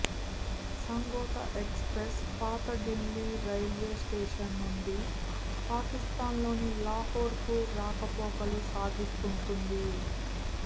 Samjhauta express పాత Delhi railway station నుంచి పాకిస్తాన్లోని లాహోర్ కు రాకపోకలు సాగిస్తుంటుంది